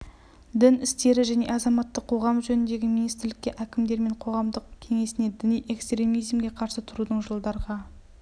дін істері және азаматтық қоғам жөніндегі министрлікке әкімдер мен қоғамдық кеңесіне діни экстремизмге қарсы тұрудың жылдарға